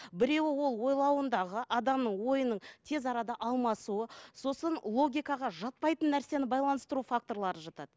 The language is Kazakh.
біреуі ол ойлауындағы адамның ойының тез арада алмасуы сосын логикаға жатпайтын нәрсені байланыстыру факторлары жатады